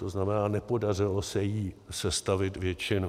To znamená, nepodařilo se jí sestavit většinu.